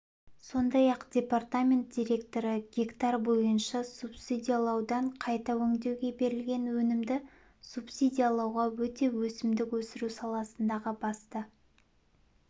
сондай-ақ департамент директоры гектар бойынша субсидиялаудан қайта өңдеуге берілген өнімді субсидиялауға өту өсімдік өсіру саласындағы басты